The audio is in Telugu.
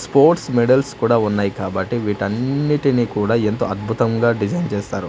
స్పోర్ట్స్ మెడల్స్ కూడా ఉన్నాయ్ కాబట్టి వీటన్నిటిని కూడా ఎంతో అద్భుతంగా డిజైన్ చేస్తారు.